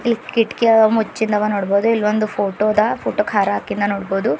ಇಲ್ಲಿ ಕಿಟಕಿಯ ಮುಚ್ಚುದವ ನೋಡ್ಬೋದು ಇಲ್ಲಿ ಒಂದು ಫೋಟೋ ದ ಫೋಟೋ ಕ್ಕೆ ಹಾರ ಹಾಕಿದ ನೋಡ್ಬೋದು.